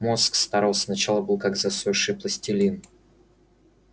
мозг старался сначала был как засохший пластилин